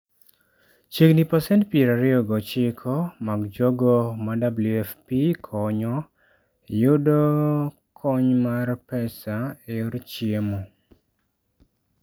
Chiegni pasent 29 mar jogo ma WFP konyo, yudo kony mar pesa e yor chiemo.